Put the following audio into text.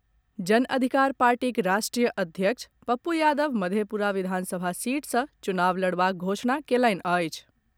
जन अधिकार पार्टीक राष्ट्रीय अध्यक्ष पप्पू यादव मधेपुरा विधानसभा सीट सँ चुनाव लड़बाक घोषणा कयलनि अछि।